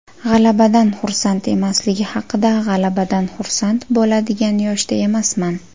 G‘alabadan xursand emasligi haqida G‘alabadan xursand bo‘ladigan yoshda emasman.